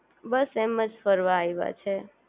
બસ એમજ ફરવા આયવા છીએ